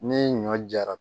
Ni ɲɔ jara